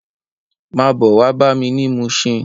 Má bò wá bámi ni Mushin